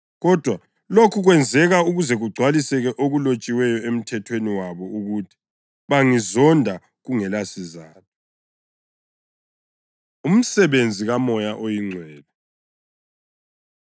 Kodwa lokhu kwenzeka ukuze kugcwalise okulotshiweyo eMthethweni wabo ukuthi: ‘Bangizonda kungelasizatho.’ ”+ 15.25 AmaHubo 35.19; 69.4 Umsebenzi KaMoya OyiNgcwele